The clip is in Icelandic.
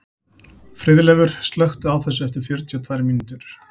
Friðleifur, slökktu á þessu eftir fjörutíu og tvær mínútur.